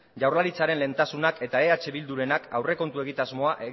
jaurlaritzaren lehentasunak eta eh bildurenak aurrekontu egitasmoa